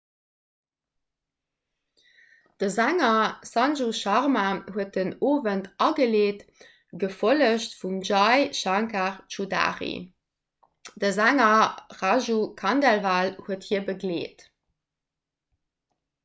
de sänger sanju sharma huet den owend ageleet gefollegt vum jai shankar choudhary de sänger raju khandelwal huet hie begleet